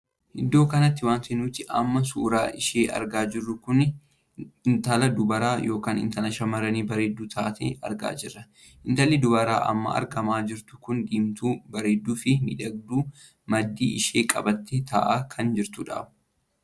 Iddoo kanatti wanti nuti amma suuraa ishee argaa jirru kun intala dubaraa ykn intala shamarranii bareedduu taatee argaa jirra. intalli dubaraa amma argamaa jirtu kun diimtuu bareedduu fi miidhagduu maddii ishee qabattee taa'aa kan jirtudha.